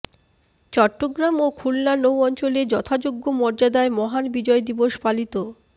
চট্টগ্রাম ও খুলনা নৌ অঞ্চলে যথাযোগ্য মর্যাদায় মহান বিজয় দিবস পালিত